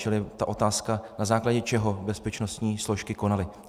Čili ta otázka: na základě čeho bezpečnostní složky konaly.